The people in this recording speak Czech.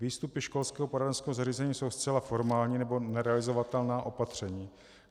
Výstupy školského poradenského zařízení jsou zcela formální nebo nerealizovatelná opatření.